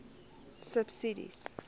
subsidies